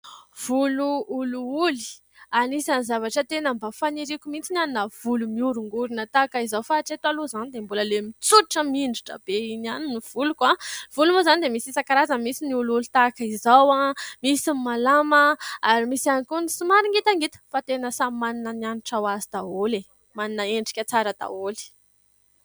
Volo olioly ! Anisany zavatra tena mba faniriako mihitsy ny hanana volo mihorongorona tahaka izao fa hatreto aloha izany dia mbola ilay mitsotra mihinjitra be iny ihany ny voloko. Ny volo moa izany dia misy isan-karazany : misy ny olioly tahaka izao, misy ny malama ary misy ihany koa ny somary ngitangita ; fa tena samy manana ny hanitra ho azy daholo, manana endrika tsara daholo.